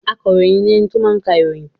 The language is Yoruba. Akaròyìn ni ẹni tó máa ń ka ìròyìn.